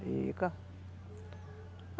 Fica.